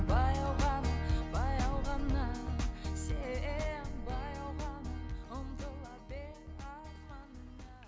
баяу ғана баяу ғана сен баяу ғана ұмтыла бер арманыңа